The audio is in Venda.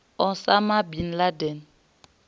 osama bin laden